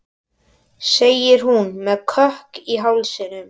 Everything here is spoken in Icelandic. segir hún með kökk í hálsinum.